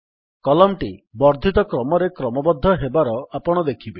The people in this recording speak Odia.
କଲମ୍ ଟି ବର୍ଦ୍ଧିତ କ୍ରମରେ କ୍ରମବଦ୍ଧ ହେବାର ଆପଣ ଦେଖିବେ